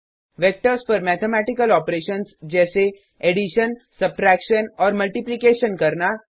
vectors पर mathematical operations जैसे addition subtraction और मल्टीप्लीकेशन करना